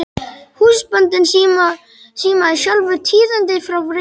Húsbóndinn símaði sjálfur tíðindin frá Reykjavík.